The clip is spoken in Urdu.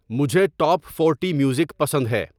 مجھے ٹاپ فورٹی میوزک پسند ہے